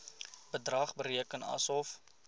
bedrag bereken asof